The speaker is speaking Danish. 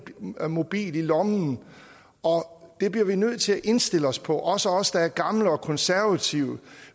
mobil i lommen og det bliver vi nødt til at indstille os på også os der er gamle og konservative